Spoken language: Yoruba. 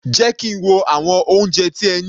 Jẹ́ kí n wo àwọn oúnjẹ tí ẹ ní.